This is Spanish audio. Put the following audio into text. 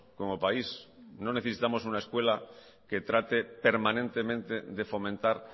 como país no necesitamos una escuela que trate permanentemente de fomentar